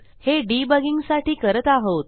हे डिबगिंग साठी करत आहोत